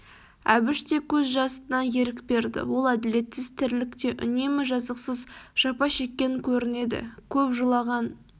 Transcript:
әбіш те көз жасына ерік берді ол әділетсіз тірлікте үнемі жазықсыз жапа шеккен көрінеді көп жылаған